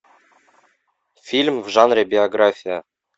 фильм в жанре биография